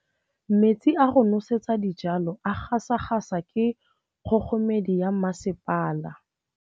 Metsi a go nosetsa dijalo a gasa gasa ke kgogomedi ya masepala.